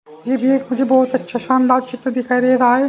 ये भी एक मुझे बहुत अच्छा शानदार चित्र दिखाई दे रहा है।